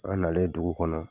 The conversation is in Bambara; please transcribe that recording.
An nalen dugu kɔnɔ